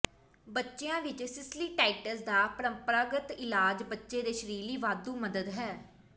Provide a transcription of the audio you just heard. ਬੱਚਿਆਂ ਵਿੱਚ ਸਿਸਲੀਟਾਈਟਿਸ ਦਾ ਪ੍ਰੰਪਰਾਗਤ ਇਲਾਜ ਬੱਚੇ ਦੇ ਸਰੀਰ ਲਈ ਵਾਧੂ ਮਦਦ ਹੈ